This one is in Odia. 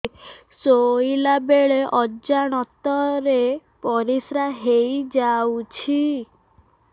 ଶୋଇଲା ବେଳେ ଅଜାଣତ ରେ ପରିସ୍ରା ହେଇଯାଉଛି